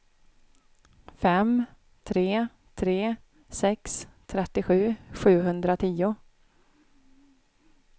fem tre tre sex trettiosju sjuhundratio